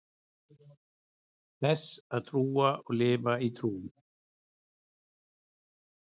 þess að trúa og lifa í trú